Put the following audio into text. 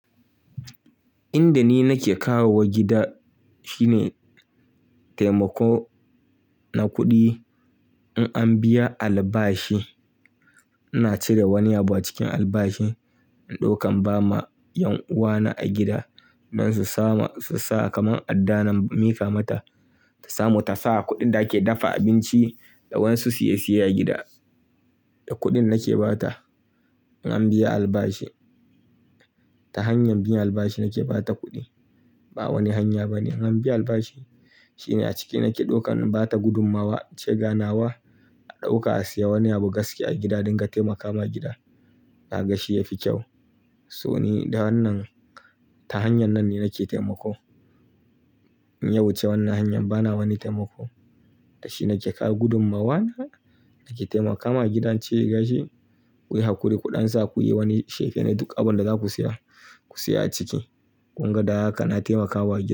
Inda ni nake kawo wa gida shine taimako na kuɗi. In an biya albashi ina cire wani abu a cikin albashin in dauka in bama yan uwana a gida dun su samu su sa kamar adda na mika mata ta samu ta sa a kudin da ake dafa abinci da wadansu siye siye a gida da kuɗin nake ba ta. In an biya albashi ta hanyar biyan albashi nake ba ta kuɗi. Ba wani hanya ba ne. In an biya albashi shine a ciki nake ɗaukan in bata gudummawa, ince ga nawa a ɗauka a siya wani abu gaskiys a gida a dinga taimaka ma gida. Na ga shi ya fi kyau. So ni da wannan ta hanyar nan ne nake taimako. In ya wuce wannan hanyar bana wani taimako. Da shi nake kawo gudummawa na, nake taimakawa gida in ce gashi ku yi hakuri ku ɗan sa ku yi wani shekelin duk abin da za ku siya ku siya a ciki. Kun ga da haka na taimakawa gida.